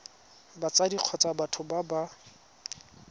batsadi kgotsa batho ba ba